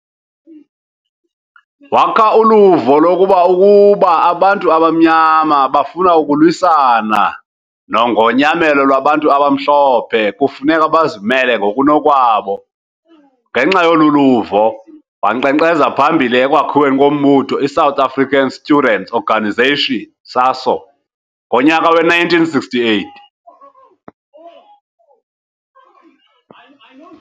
Wakha uluvo lokuba ukuba abantu abamnyama bafuna ukulwisana nongonyamelo lwabantu abamhlophe kufuneka bazimele ngokunokwabo, ngenxa yoluluvo wanqenqeza phambili ekwakhiweni kombutho iSouth African Students' Organization, SASO, ngonyaka we-1968.